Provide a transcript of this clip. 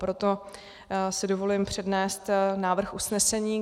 Proto si dovolím přednést návrh usnesení.